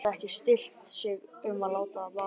Hún gat ekki stillt sig um að láta það vaða.